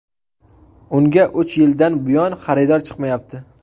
Unga uch yildan buyon xaridor chiqmayapti.